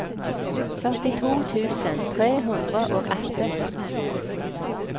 førtito tusen tre hundre og atten